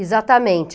Exatamente.